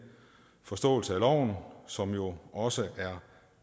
forståelse af loven som jo også er